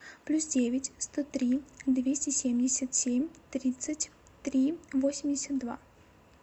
плюс девять сто три двести семьдесят семь тридцать три восемьдесят два